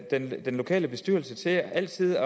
den lokale bestyrelse til altid